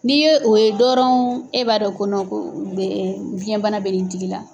N'i ye o ye dɔrɔn e b'a dɔn kɔ ko biyɛnbana bɛ nin tigi la.